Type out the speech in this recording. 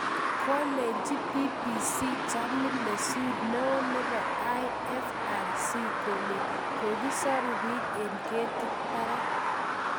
Kolennji bbc Jamie LeSeur neo nepo IFRC kole kogisoru pik en ketit parak.